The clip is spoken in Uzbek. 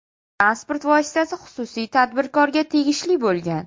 Transport vositasi xususiy tadbirkorga tegishli bo‘lgan.